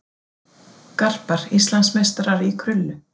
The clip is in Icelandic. Garpar Íslandsmeistarar í krullu